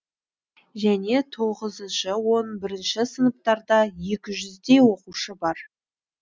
және тоғызыншы он бірінші сыныптарда екі жүздей оқушы бар